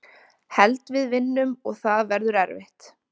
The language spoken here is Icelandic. Held við vinnum og það verður erfitt.